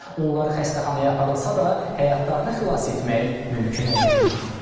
Onlar xəstəxanaya aparılsa da, həyatlarını xilas etmək mümkün olmayıb.